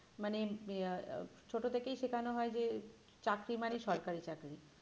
মানে আহ ছোটো থেকেই শেখানো হয় যে চাকরি মানেই সরকারি চাকরি